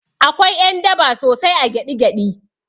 Akwai ƴan daba sosai a gyaɗi gyaɗi